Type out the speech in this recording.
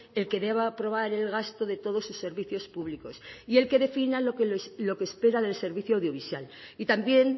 el que deba aprobar el gasto de todos sus servicios públicos y el que defina lo que espera del servicio audiovisual y también